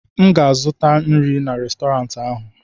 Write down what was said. m ga-azụta nri n'Restọrantị ahụ